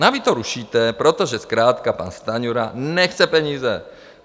A vy to rušíte, protože zkrátka pan Stanjura nechce peníze.